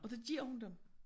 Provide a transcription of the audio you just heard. Og det giver hun dem